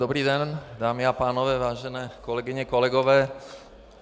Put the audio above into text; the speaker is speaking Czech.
Dobrý den, dámy a pánové, vážené kolegyně, kolegové.